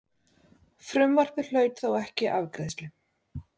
Frumvarpið hlaut þó ekki afgreiðslu.